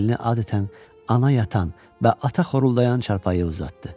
Əlini adətən ana yatan və ata xoruldayan çarpayıya uzatdı.